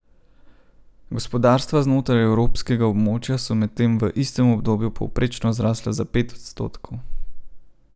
Gospodarstva znotraj evrskega območja so medtem v istem obdobju povprečno zrasla za pet odstotkov.